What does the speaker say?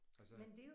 Altså